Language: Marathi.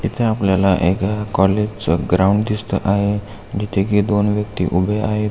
इथ आपल्याला एका कॉलेज च ग्राउंड दिसत आहे जिथे की दोन व्यक्ति उभे आहे.